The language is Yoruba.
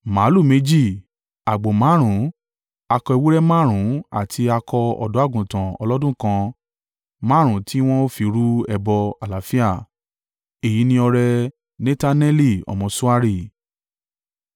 Màlúù méjì, àgbò márùn-ún, akọ ewúrẹ́ márùn-ún àti akọ ọ̀dọ́-àgùntàn ọlọ́dún kan márùn-ún tí wọn ó fi rú ẹbọ àlàáfíà. Èyí ni ọrẹ Netaneli ọmọ Suari.